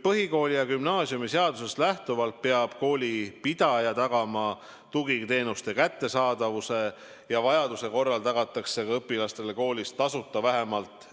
Põhikooli- ja gümnaasiumiseadusest lähtuvalt peab koolipidaja tagama tugiteenuste kättesaadavuse ja vajaduse korral tagatakse õpilastele koolis tasuta ka vähemalt